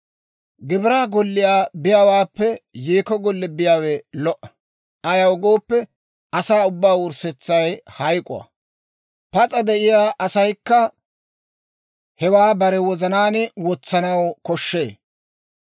Gibiraa golliyaa biyaawaappe, yeekko golliyaa biyaawe lo"a; ayaw gooppe, asaa ubbaa wurssetsay hayk'k'o; pas'a de'iyaa asaykka hewaa bare wozanaan wotsanaw koshshee.